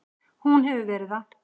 Hún hefur verið það.